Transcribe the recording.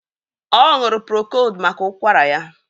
Ọ ṅụrụ prokóld maka ụkwara ya